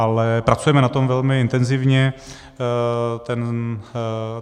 Ale pracujeme na tom velmi intenzivně.